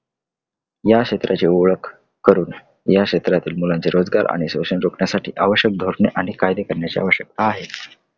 या क्षेत्राची ओळख करून या क्षेत्रातील मुलांचे रोजगार आणि शोषण रोखण्यासाठी आवश्यक धोरण आणि कायदे करण्याची आवश्यकता आहे.